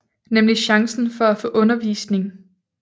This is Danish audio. Nemlig chancen for at få undervisning